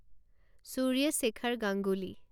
Surya Shekhar Ganguly